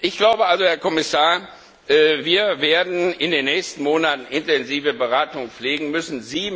Ich glaube also, Herr Kommissar, wir werden in den nächsten Monaten eine intensive Beratung führen müssen.